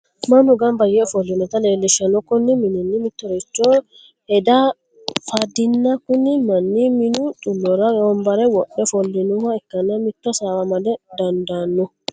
Manu gamba yee ofolinotta leellishano koni maninni mittoricho heda fandinna kuni mani minu xullora wombare wodhe offolinoha ikkana mito hasawa amada dandaano